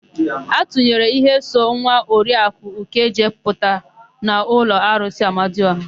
A tụnyere íhé so nwa Oriaku Ukeje pụta n'ụlọ arụsị Amadiọha.